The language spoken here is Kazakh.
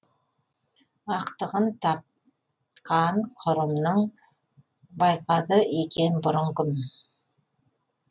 ақтығын тапқан құрымның байқады екен бұрын кім